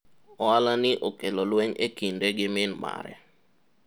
ohala ni okelo lweny e kinde gi min mare